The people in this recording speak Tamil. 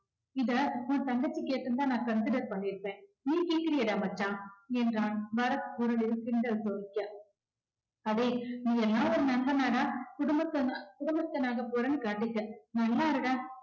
இத உன் தங்கச்சி கேட்டிருந்தா நான் consider பண்ணிருப்பேன் நீ கேக்கறியேடா மச்சான் என்றான் பரத் உடனே கிண்டல் அடேய் நீயெல்லாம் ஒரு நண்பனாடா குடும்பஸ்தனா~ குடும்பஸ்தனா ஆகப் போறேன்னு காட்டிட்ட நல்லா இருடா